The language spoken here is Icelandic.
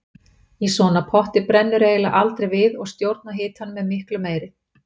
Í svona potti brennur eiginlega aldrei við og stjórn á hitanum er miklu meiri.